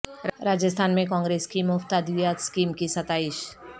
راجستھان میں کانگریس کی مفت ادویات اسکیم کی ستائش